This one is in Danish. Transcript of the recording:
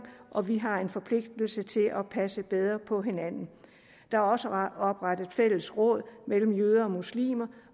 og vi har en forpligtelse til at passe bedre på hinanden der er også oprettet fællesråd mellem jøder og muslimer